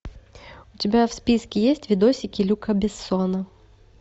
у тебя в списке есть видосики люка бессона